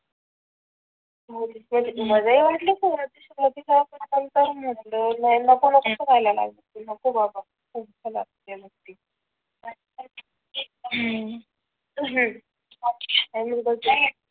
मध्ये वाटले तर मग नको नको करायला नको बाबा